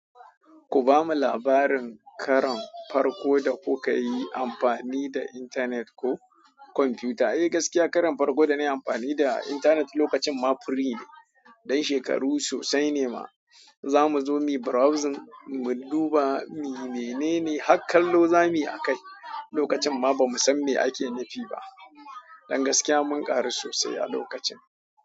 Ku bamu labarin karon farko da kuka yi amfani da intanet ko kwamfuta. Eh, gaskiya karon farko da na yi amfani da intanet lokacin ma firii ne. Dan shekaru sosai ne ma. Za mu zo mu browsing, mu duba me nene, har kallo za mu yi akai. Lokacin ma ba mu san me ake nufi ba. Dan gaskiya mun ƙaru sosai a lokacin.